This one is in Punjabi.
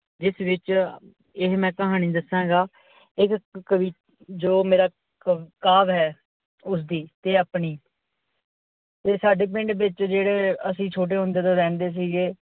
ਜਿਸ ਵਿੱਚ ਇਹ ਮੈ ਕਹਾਣੀ ਦੱਸਾਂਗਾ ਇੱਕ ਕਵੀ ਜੋ ਮੇਰਾ ਕਾਵ ਹੈ ਉਸਦੀ ਤੇ ਆਪਣੀ, ਤੇ ਸਾਡੇ ਪਿੰਡ ਵਿੱਚ ਜੇੜੇ ਅਸੀਂ ਛੋਟੇ ਹੁੰਦੇ ਤੋਂ ਰਿਹੰਦੇ ਸੀਗੇ,